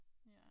Ja